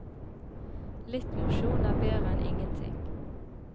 Litt mosjon er bedre enn ingenting.